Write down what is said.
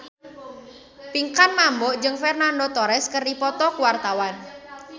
Pinkan Mambo jeung Fernando Torres keur dipoto ku wartawan